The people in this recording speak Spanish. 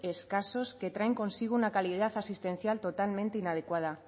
escasos que traen consigo una calidad asistencial totalmente inadecuada